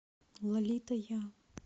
лолита я